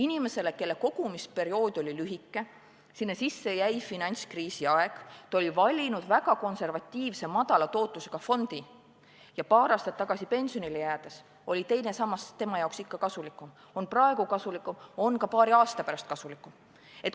Selle inimese kogumisperiood oli lühike, sinna sisse jäi finantskriisi aeg, ta oli valinud väga konservatiivse, madala tootlusega fondi ja paar aastat tagasi pensionile jäädes oli teine sammas tema jaoks ikka kasulikum, see on praegu kasulikum, on ka paari aasta pärast kasulikum.